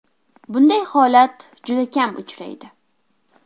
Bunday holat juda kam uchraydi.